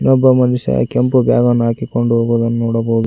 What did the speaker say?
ಒಬ್ಬ ಮನುಷ್ಯ ಕೆಂಪು ಬ್ಯಾಗ್ ಅನ್ನು ಹಾಕಿಕೊಂಡು ಹೋಗುವುದನ್ನು ನೋಡಬಹುದು.